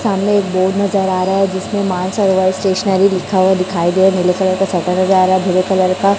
सामने एक बोर्ड नजर आ रहा है जिसमें मानसरोवर स्टेशनरी लिखा हुआ दिखाई दे नीले कलर का छाता नजर रहा है ब्लू कलर का।